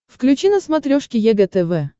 включи на смотрешке егэ тв